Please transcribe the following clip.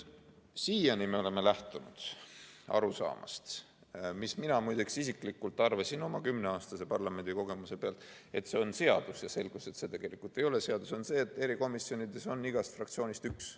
Siiani me oleme lähtunud arusaamast – muide, mina isiklikult arvasin oma kümneaastase parlamendikogemuse pealt, et see on seadus, aga selgus, et see ei ole seadus –, et erikomisjonides on igast fraktsioonist üks.